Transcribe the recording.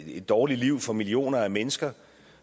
et dårligt liv for millioner af mennesker